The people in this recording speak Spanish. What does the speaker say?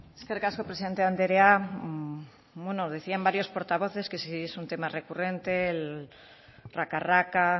eskerrik asko presidente andrea bueno decían varios portavoces que si es un tema recurrente el raca raca